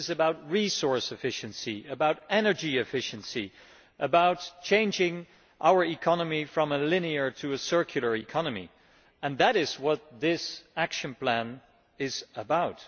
it is about resource efficiency, energy efficiency and changing our economy from a linear to a circular one. That is what this action plan is about.